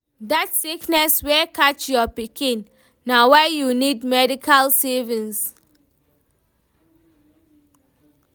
Dat sickness wey catch your pikin, na why you need medical savings.